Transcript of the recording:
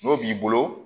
N'o b'i bolo